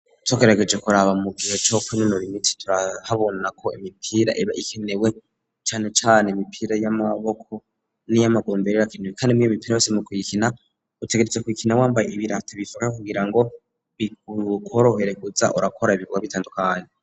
Tugerageje koraba mu nkino zo kwinonora imitsi turabona ko imipira iba ikenewe, cane cane imipira y'amaboko n'iy'amaguru mbere irakenewe kandi niyo mipira yose mu kuyikina utegerezwa kuyikina wambaye ibirato bifata kugira ngo bikorohere kuza urakora ibikogwa bitandukanye.